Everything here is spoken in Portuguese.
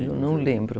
Eu não lembro.